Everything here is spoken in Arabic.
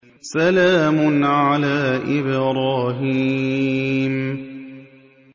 سَلَامٌ عَلَىٰ إِبْرَاهِيمَ